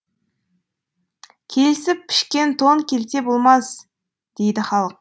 келісіп пішкен тон келте болмас дейді халық